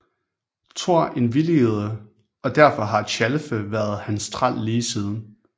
Thor indvilligede og derfor har Tjalfe været hans træl lige siden